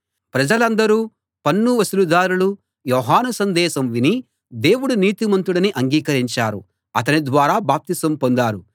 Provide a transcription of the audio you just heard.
ప్రజలందరూ పన్ను వసూలుదారులూ యోహాను సందేశం విని దేవుడు నీతిమంతుడని అంగీకరించారు అతని ద్వారా బాప్తిసం పొందారు